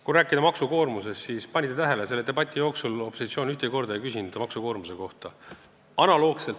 Kui rääkida maksukoormusest, siis kas panite tähele, et selle debati jooksul ei küsinud opositsioon ühtegi küsimust maksukoormuse kohta?